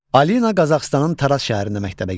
Alina Qazaxıstanın Taraz şəhərində məktəbə gedir.